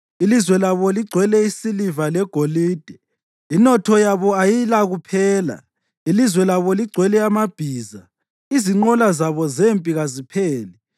Ilizwe labo ligcwele isiliva legolide; inotho yabo ayilakuphela. Ilizwe labo ligcwele amabhiza; izinqola zabo zempi kazipheli.